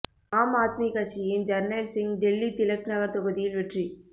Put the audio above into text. ஆம் ஆத்மி கட்சியின் ஜர்னைல் சிங் டெல்லி திலக் நகர் தொகுதியில் வெற்றி